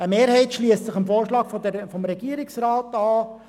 Eine Mehrheit schliesst sich dem Vorschlag des Regierungsrats an.